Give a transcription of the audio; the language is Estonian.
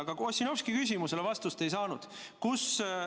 Aga ka Ossinovski küsimusele vastust ei saanud.